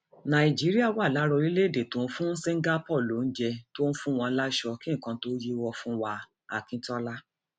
nàìjíríà wà lára orílẹèdè tó ń fún singapore lóúnjẹ tó ń fún wọn láṣọ kí nǹkan tóó yíwọ fún waakintola